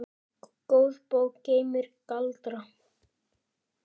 Góð bók geymir galdra.